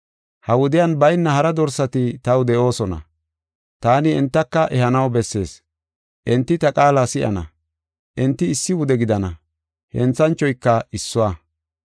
Ha wudiyan bayna hara dorsati taw de7oosona. Taani entaka ehanaw bessees. Enti ta qaala si7ana; enti issi wude gidana; henthanchoyka issuwa.